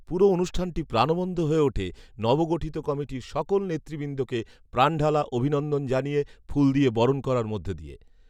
পুরো অনুষ্ঠানটি প্রাণবন্ত হয়ে উঠে, নব গঠিত কমিটির সকল নেতৃবৃন্দকে প্রানঢালা অভিনন্দন জানিয়ে ফুল দিয়ে বরণ করার মধ্য দিয়ে